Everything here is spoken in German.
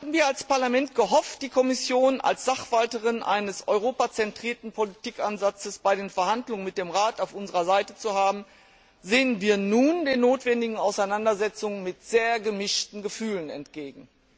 Wir als Parlament hatten gehofft, die Kommission als Sachwalterin eines europazentrierten Politikansatzes bei den Verhandlungen mit dem Rat auf unserer Seite zu haben, doch nun sehen wir den notwendigen Auseinandersetzungen mit sehr gemischten Gefühlen entgegen.